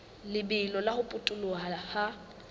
lebelo la ho potoloha ha